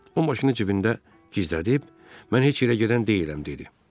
O maşını cibində gizlədib, mən heç yerə gedən deyiləm dedi.